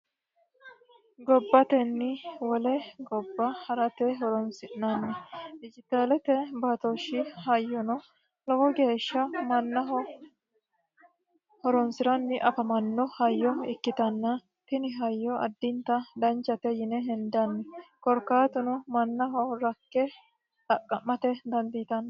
gobbatenni wole gobba harate horonsi'nanni dijitaalete baatooshshi hayyono lowo geeshsha mannaho horonsiranni afamanno hayyo ikkitanna tini hayyo addinta danichate yine hendanni korkaatuno mannaho rakke xaqqa'mate dandiitanni